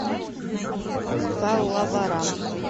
паллаварам